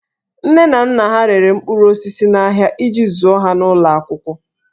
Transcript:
Nne na nna ha rere mkpụrụ osisi n'ahịa iji zụọ ha n'ụlọ akwụkwọ